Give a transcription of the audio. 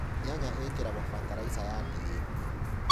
Nyanya īkīragwo bataraica ya DAP.